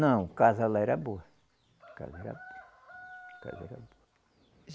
Não, casa lá era boa. Casa era boa.